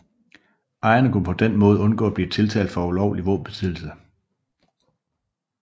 Ejerne kunne på den måde undgå at blive tiltalt for ulovlig våbenbesiddelse